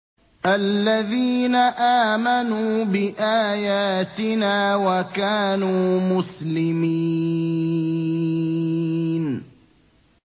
الَّذِينَ آمَنُوا بِآيَاتِنَا وَكَانُوا مُسْلِمِينَ